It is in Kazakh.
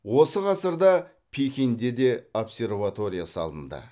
осы ғасырда пекинде де обсерватория салынды